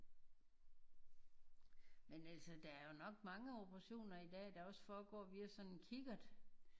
Men altså der er jo nok mange operationer i dag der også forgår via sådan en kikkert